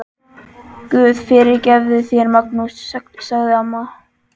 Guð fyrirgefi þér, Magnús, sagði amma.